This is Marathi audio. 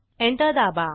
एंटर दाबा